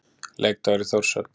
Leikdagur í Þórshöfn.